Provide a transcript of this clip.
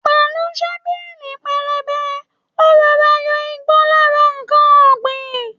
pẹlú Shọ́bìrì pẹlẹbẹ, ó rọọra yọ igbó lára ǹkan ọ̀gbìn.